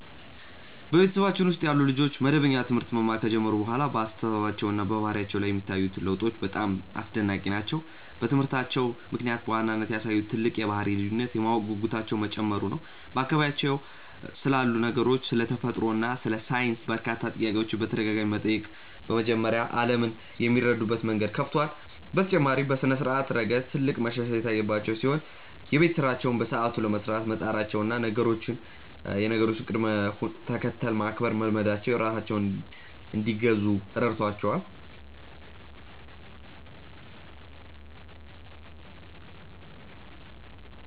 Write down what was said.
በቤተሰባችን ውስጥ ያሉ ልጆች መደበኛ ትምህርት መማር ከጀመሩ በኋላ በአስተሳሰባቸውና በባህሪያቸው ላይ የሚታዩት ለውጦች በጣም አስደናቂ ናቸው። በትምህርታቸው ምክንያት በዋናነት ያሳዩት ትልቅ የባህሪ ልዩነት የማወቅ ጉጉታቸው መጨመሩ ነው፤ በአካባቢያቸው ስላሉ ነገሮች፣ ስለ ተፈጥሮ እና ስለ ሳይንስ በርካታ ጥያቄዎችን በተደጋጋሚ መጠየቅ በመጀመራቸው ዓለምን የሚረዱበት መንገድ ሰፍቷል። በተጨማሪም በስነ-ስርዓት ረገድ ትልቅ መሻሻል የታየባቸው ሲሆን፣ የቤት ስራቸውን በሰዓቱ ለመስራት መጣራቸውና የነገሮችን ቅደም-ተከተል ማክበር መልመዳቸው ራሳቸውን እንዲገዙ ረድቷቸዋል።